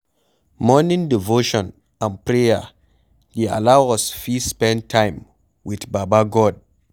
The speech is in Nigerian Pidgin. Morning devotion and prayer dey allow us fit spend time with baba God